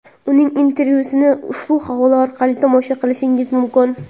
Uning intervyusini ushbu havola orqali tomosha qilishingiz mumkin.